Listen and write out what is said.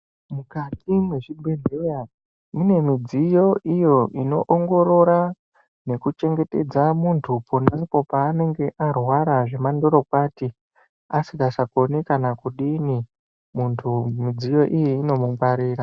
Mukati mezvibhedhleya mune midziyo iyo inoongorora nekuchengetedza muntu ponapo paanenge arwara zvemandorokwati asingachakoni kana kudini. Muntu midziyo iyi inomungwarira.